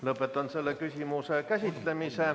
Lõpetan selle küsimuse käsitlemise.